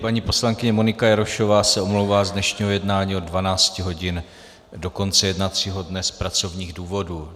Paní poslankyně Monika Jarošová se omlouvá z dnešního jednání od 12 hodin do konce jednacího dne z pracovních důvodů.